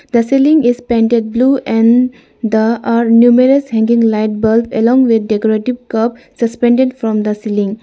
the ceiling is painted blue and the are numerous hanging light bulbs along with decorative cup suspended from the ceiling.